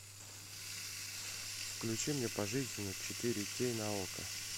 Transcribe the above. включи мне пожизненно четыре кей на окко